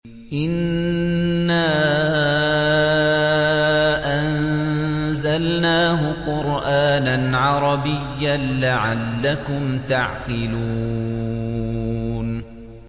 إِنَّا أَنزَلْنَاهُ قُرْآنًا عَرَبِيًّا لَّعَلَّكُمْ تَعْقِلُونَ